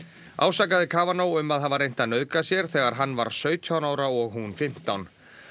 ásakaði um að hafa reynt að nauðga sér þegar hann var sautján ára og hún fimmtán